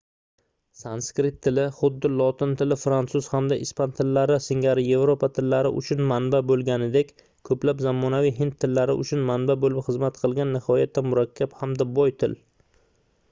sanskrit tili xuddi lotin tili fransuz hamda ispan tillari singari yevropa tillari uchun manba boʻlganidek koʻplab zamonaviy hind tillari uchun manba boʻlib xizmat qilgan nihoyatda murakkab hamda boy til